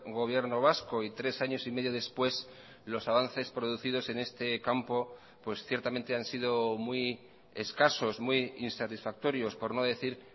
gobierno vasco y tres años y medio después los avances producidos en este campo pues ciertamente han sido muy escasos muy insatisfactorios por no decir